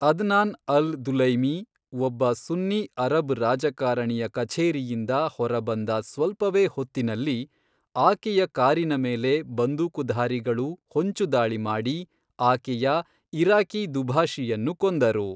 Adnan al Dulaimi ಒಬ್ಬ ಸುನ್ನಿ Arab ರಾಜಕಾರಣಿಯ ಕಛೇರಿಯಿಂದ ಹೊರಬಂದ ಸ್ವಲ್ಪವೇ ಹೊತ್ತಿನಲ್ಲಿ, ಆಕೆಯ ಕಾರಿನ ಮೇಲೆ ಬಂದೂಕುಧಾರಿಗಳು ಹೊಂಚುದಾಳಿ ಮಾಡಿ ಆಕೆಯ ಇರಾಕಿ ದುಭಾಷಿಯನ್ನು ಕೊಂದರು.